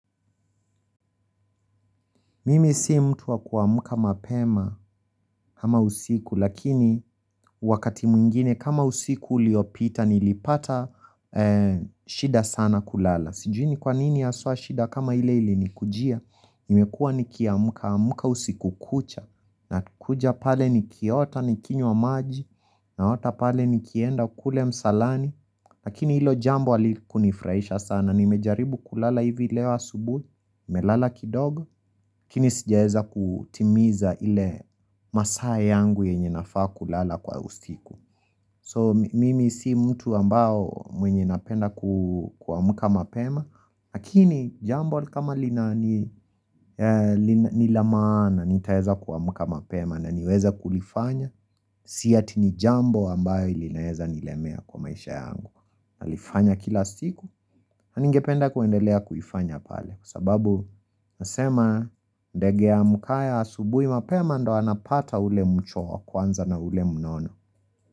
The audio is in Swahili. Mimi simtu wa kwa muka mapema ama usiku lakini wakati mwingine kama usiku liopita nilipata shida sana kulala. Sijui ni kwa nini aswa shida kama ile ili ni kujia Nimekua nikia muka usiku kucha na kuja pale nikia ota nikinyo wa maji na ota pale nikienda kule msalani Lakini ilo jambo aliku nifurahisha sana nimejaribu kulala hivi leo asubu nimelala kidogo Kini sijaeza kutimiza ile masaa yangu yenye nafaa kulala kwa usiku So mimi si mtu ambao mwenye napenda kwa muka mapema Hakini jambo kama lina nilamaana nitaeza kwa muka mapema na niweza kulifanya Si atini jambo ambayo ili naeza nilemea kwa maisha yangu Alifanya kila siku na ningependa kuendelea kufanya pale Kwa sababu nasema ndegea mukaya asubui mapema ndo anapata ule mchwa kwanza na ule mnono.